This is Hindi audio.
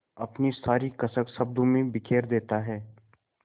अपनी सारी कसक शब्दों में बिखेर देता है